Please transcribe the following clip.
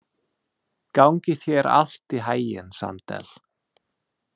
Gangi þér allt í haginn, Sandel.